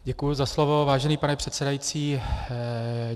Děkuji za slovo, vážený pane předsedající.